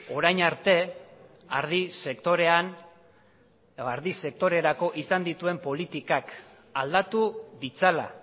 orain arte ardi sektorerako izan dituen politikak aldatu ditzala